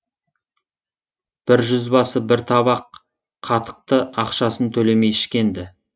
бір жүзбасы бір табақ қатықты ақшасын төлемей ішкен ді